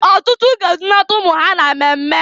Ọtụtụ na-edunata ụmụ ha na mmemme.